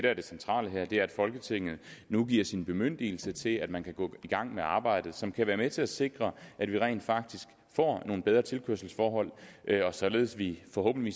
er det centrale her er at folketinget nu giver sin bemyndigelse til at man kan gå i gang med arbejdet som kan være med til at sikre at vi rent faktisk får nogle bedre tilkørselsforhold og således at vi forhåbentlig